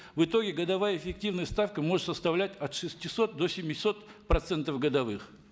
в итоге годовая эффективаная ставка может составлять от шестисот до семисот процентов годовых